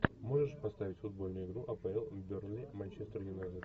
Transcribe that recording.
можешь поставить футбольную игру апл бернли манчестер юнайтед